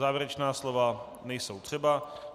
Závěrečná slova nejsou třeba.